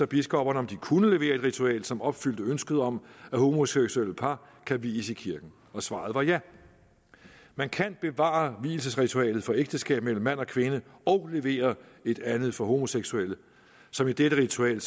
biskopperne om de kunne levere et ritual som opfyldte ønsket om at homoseksuelle par kan vies i kirken og svaret var ja man kan bevare vielsesritualet for ægteskab mellem mand og kvinde og levere et andet for homoseksuelle som i dette ritual